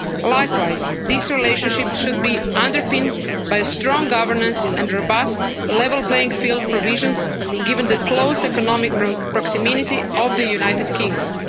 Likewise, this relationship should be underpinned by strong governance and robust level playing field provisions, given the close economic proximity of the United Kingdom.